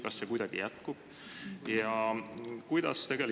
Kas see jätkub?